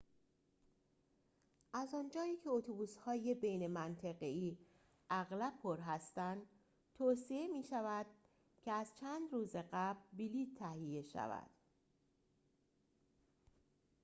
از آنجایی که اتوبوس‌های بین منطقه‌ای اغلب پر هستند توصیه می‌شود که از چند روز قبل بلیط تهیه شود